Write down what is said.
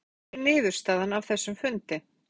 Finnur: Hver er niðurstaðan af þessum fundi?